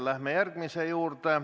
Läheme järgmise küsimuse juurde.